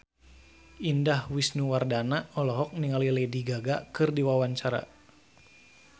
Indah Wisnuwardana olohok ningali Lady Gaga keur diwawancara